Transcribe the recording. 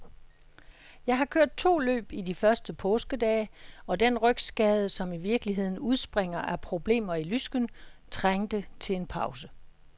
Jeg har kørt to løb i de første påskedage, og den rygskade, som i virkeligheden udspringer af problemer i lysken, trængte til en pause.